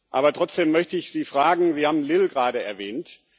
Aber trotzdem möchte ich Sie fragen Sie haben Lille gerade erwähnt.